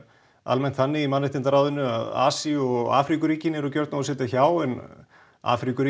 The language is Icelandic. almennt þannig í mannréttindaráðinu að Asíu og eru gjörn á að sitja hjá en